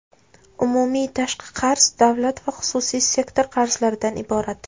Umumiy tashqi qarz davlat va xususiy sektor qarzlaridan iborat.